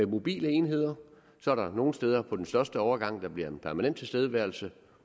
mobile enheder så er der nogle steder på de største overgange der bliver en permanent tilstedeværelse